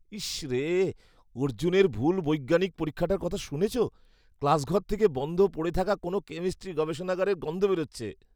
ইশ রে, অর্জুনের ভুল বৈজ্ঞানিক পরীক্ষাটার কথা শুনেছ? ক্লাসঘর থেকে বন্ধ পড়ে থাকা কোনও কেমিস্ট্রি গবেষণাগারের গন্ধ বেরুচ্ছে।